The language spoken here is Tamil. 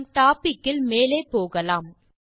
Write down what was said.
நம் டோபிக் இல் மேலே போகலாம்